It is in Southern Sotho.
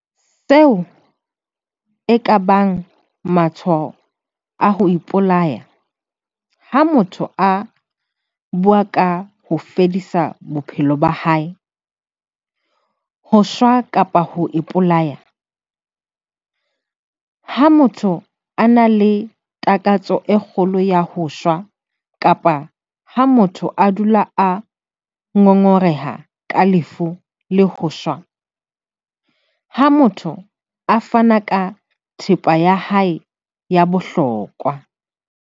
Seo e ka bang matshwao a ho ipolaya - Ha motho a bua ka ho fedisa bophelo ba hae, ho shwa kapa ho ipolaya. Ha motho a na le takatso e kgolo ya ho shwa kapa ha motho a dula a ngongoreha ka lefu le ho shwa. Ha motho a fana ka thepa ya hae ya bohlokwa.